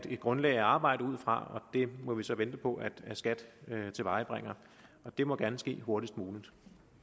et grundlag at arbejde ud fra det må vi så vente på at skat tilvejebringer og det må gerne ske hurtigst muligt